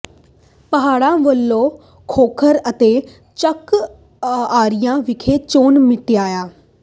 ਪਾਹੜਾ ਵੱਲੋਂ ਖੋਖਰ ਤੇ ਚੱਕ ਅਰਾਈਆਂ ਵਿਖੇ ਚੋਣ ਮੀਟਿੰਗਾਂ